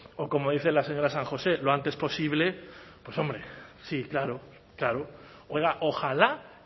o como dice la señora san josé lo antes posible pues hombre sí claro claro oiga ojalá